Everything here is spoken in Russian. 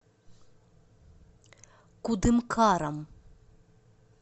кудымкаром